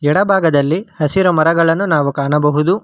ಎಡಭಾಗದಲ್ಲಿ ಹಸಿರು ಮರಗಳನ್ನು ನಾವು ಕಾಣಬಹುದು.